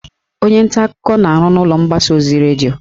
Onye nta akụkọ na-arụ n'ụlọ mgbasa ozi redio